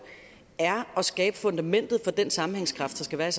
er at skabe fundamentet for den sammenhængskraft der skal være